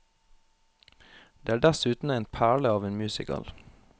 Det er dessuten en perle av en musical.